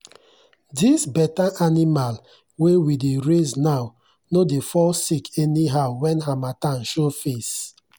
this better animal wey we dey raise now no dey fall sick anyhow when harmattan show face.